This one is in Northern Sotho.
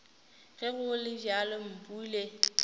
ge go le bjalo mpule